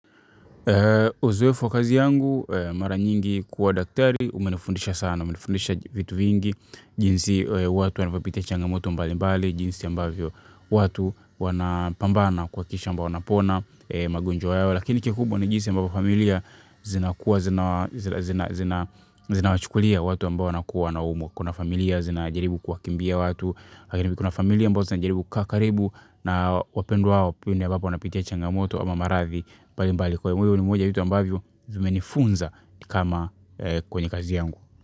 Uzoefu wa kazi yangu mara nyingi kuwa daktari umenifundisha sana, umenifundisha vitu vingi. Jinsi watu wanavyopitia changamoto mbalimbali, jinsi ambavyo watu wanapambana kuhakikisha wanapona magonjwa yao, lakini kikubwa ni jinsi ambavyo familia zinawachukulia watu ambao wakuwa na humu kuna familia zinajaribu kuwakimbia watu lakini kuna familia ambazo ziko karibu na wapendwa wao, pengine wanapopitia changamoto ama maradhi mbalimbali. Hivo ni moja ya vitu ambavyo zimenifunza kama kwenye kazi yangu.